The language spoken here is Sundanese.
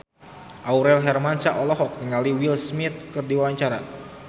Aurel Hermansyah olohok ningali Will Smith keur diwawancara